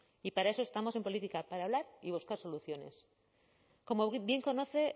y para eso estamos en política para hablar y buscar soluciones como bien conoce